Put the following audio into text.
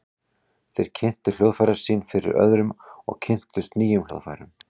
Þeir kynntu hljóðfærin sín fyrir öðrum og kynntust nýjum hljóðfærum.